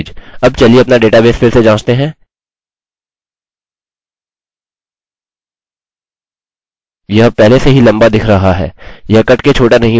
अब चलिए अपना डेटाबेस फिर से जाँचते हैं यह पहले से ही लम्बा दिख रहा है यह कटके छोटा नहीं हुआ है क्योंकि मैंने इसकी लम्बाई बदल दी थी